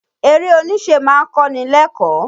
Eré oníṣe ma ń kọ́ni lẹ́kọ̀ọ́.